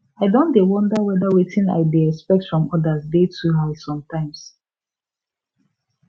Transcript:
i don dey wonder whether wetin i dey expect from others dey too high sometimes